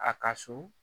A ka so